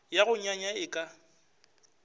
ya go nyanya e ka